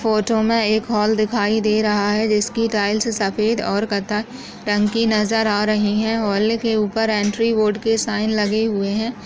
Photo में एक hall दिखाई दे रहा है जिसकी टाइल्स सफ़ेद और कत्थई रंग की नज़र आ रही है हॉल के ऊपर एंट्री बोर्ड के साइन लगे हुए है।